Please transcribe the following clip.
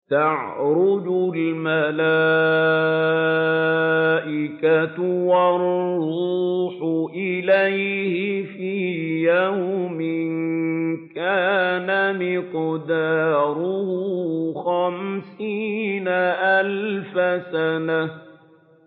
تَعْرُجُ الْمَلَائِكَةُ وَالرُّوحُ إِلَيْهِ فِي يَوْمٍ كَانَ مِقْدَارُهُ خَمْسِينَ أَلْفَ سَنَةٍ